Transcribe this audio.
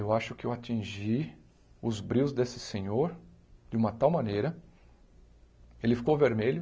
Eu acho que eu atingi os brios desse senhor, de uma tal maneira, ele ficou vermelho,